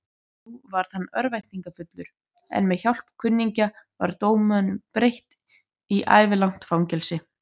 Nú varð hann örvæntingarfullur, en með hjálp kunningja var dóminum breytt í ævilangt fangelsi.